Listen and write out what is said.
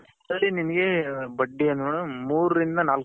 ಅದರ ನಿನಗೆ ಬಡ್ಡಿ